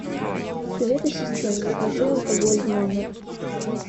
привет ассистент закажи алкоголь в номер